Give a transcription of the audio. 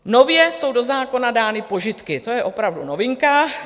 Nově jsou do zákona dány požitky, to je opravdu novinka.